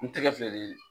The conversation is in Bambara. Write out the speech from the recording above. N tɛgɛ filɛ nin ye